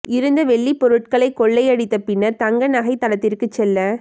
இருந்த வெள்ளி பொருட்களை கொள்ளை அடித்து பின்னர் தங்க நகை தளத்திற்கு செல்ல